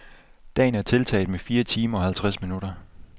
Dagen er tiltaget med fire timer og halvtreds minutter.